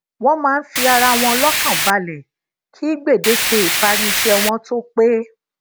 wón máa ń fi ara wọn lókàn balè kí gbèdéke ìparí iṣé wọn tó pé